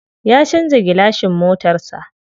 Ya canza gilashin motar sa.